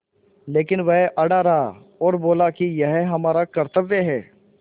लेकिन वह अड़ा रहा और बोला कि यह हमारा कर्त्तव्य है